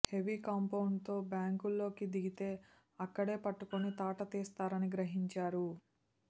heavy compound తో బ్యాంకుల్లోకి దిగితే అక్కడే పట్టుకుని తాట తీస్తారని గ్రహించారు